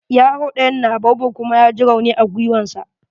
Yaro ɗayan na baobab kuma ya j rauni a giwan sa.